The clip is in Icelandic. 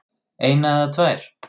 eina eða tvær.